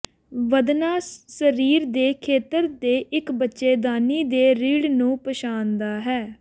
ਵਧਣਾ ਸਰੀਰ ਦੇ ਖੇਤਰ ਦੇ ਇੱਕ ਬੱਚੇਦਾਨੀ ਦੇ ਰੀੜ੍ਹ ਨੂੰ ਪਛਾਣਦਾ ਹੈ